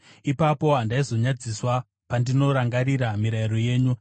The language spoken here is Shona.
Ipapo handaizonyadziswa pandinorangarira mirayiro yenyu.